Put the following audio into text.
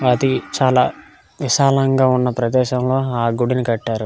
అది చాల విశాలంగా ఉన్న ప్రదేశము ఆ గుడిని కట్టారు.